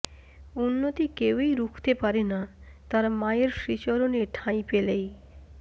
উন্নতি কেউই রুখতে পারেনা তারা মায়ের শ্রীচরণে ঠাঁই পেলেই